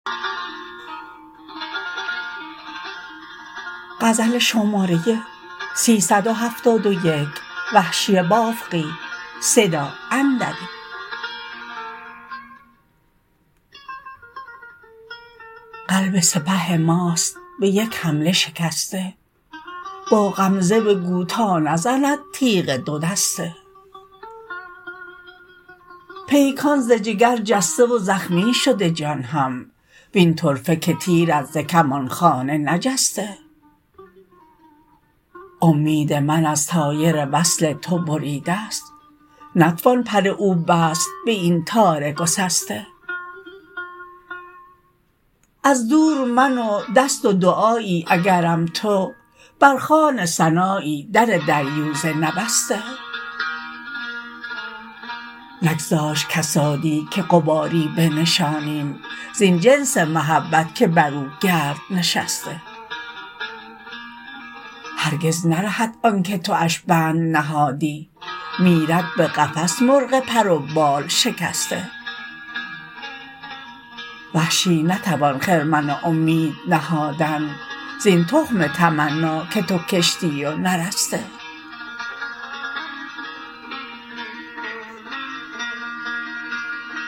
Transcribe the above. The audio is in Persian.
قلب سپه ماست به یک حمله شکسته با غمزه بگو تا نزند تیغ دو دسته پیکان ز جگر جسته و زخمی شده جان هم وین طرفه که تیرت ز کمانخانه نجسته امید من از طایر وصل تو بریده ست نتوان پر او بست به این تار گسسته از دور من و دست و دعایی اگرم تو بر خوان ثنایی در دریوزه نبسته نگذاشت کسادی که غباری بنشانیم زین جنس محبت که بر او گرد نشسته هرگز نرهد آنکه تواش بند نهادی میرد به قفس مرغ پر و بال شکسته وحشی نتوان خرمن امید نهادن زین تخم تمنا که تو کشتی و نرسته